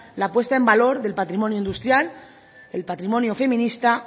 la puesta en valor del patrimonio industrial el patrimonio feminista